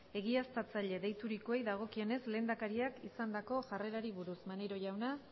egiaztatzaile deiturikoei dagokienez lehendakariak izandako jarrerari buruz maneiro jauna